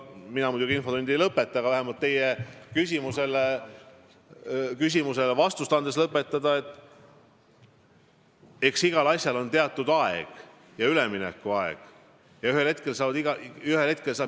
Mina muidugi infotundi ei lõpeta, aga vähemalt teie küsimustele vastuste andmist lõpetades ma märgin, et igal asjal on tõesti teatud üleminekuaeg, aga ühel hetkel saab see aeg otsa.